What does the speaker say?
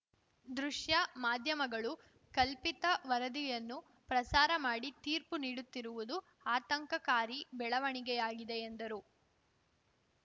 ದೃಶ್ಯ ಮಾಧ್ಯಮಗಳು ಕಲ್ಪಿತ ವರದಿಯನ್ನು ಪ್ರಸಾರ ಮಾಡಿ ತೀರ್ಪು ನೀಡುತ್ತಿರುವುದು ಆತಂಕಕಾರಿ ಬೆಳವಣಿಗೆಯಾಗಿದೆ ಎಂದರು